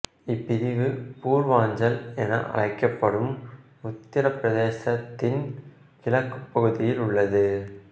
இப்பிரிவு பூர்வாஞ்சல் என அழைக்கப்படும் உத்திரப்பிரதேசத்தின் கிழக்கு பகுதியில் உள்ளது